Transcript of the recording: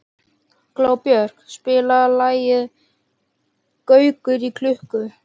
Glóbjört, spilaðu lagið „Gaukur í klukku“.